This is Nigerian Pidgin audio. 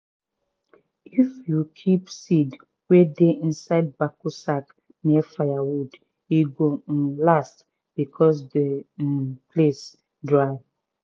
if you keep seed wey dey inside backo sack near firewood e go um last because the um place dry.